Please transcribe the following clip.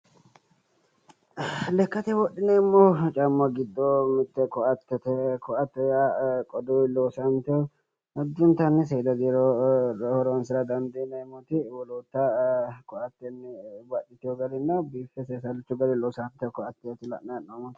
Lekkate wodhineemmo caamma giddo mitte koatete. Koate yaa qoduyi loosante addintanni seeda diro horonsira dandiineemmoti koate baxxewo garinni seesallichu garinni loosantewo koateeti.